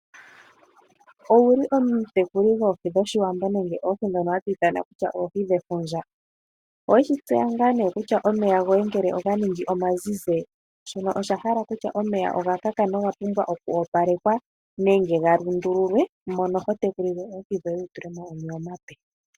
Owuli omutekuli gwoohi dhoshiwambo, nenge oohi ndhono hadhi ithanwa kutya oohi dhefundja. Owe shi tseya nga nee kutya omeya goye ngele oga ningi omazizi, shono osha hala kutya omeya oga kaka noga pumwa okwoopalekwa, nenge mono ho tekulile oohi dhoye, wutule mo omeya omape.